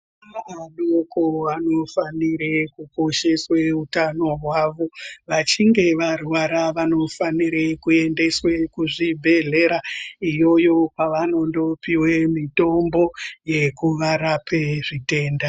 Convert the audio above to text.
Vana vadoko vanofanire kukosheswe utano hwavo vachinge varwara vanofanire kuendeswe kuzvibhedhlera iyoyo kwavanondo pihwe mitombo yekuvarape zvitenda.